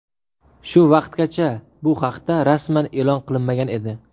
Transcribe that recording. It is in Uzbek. Shu vaqtgacha bu haqda rasman e’lon qilinmagan edi.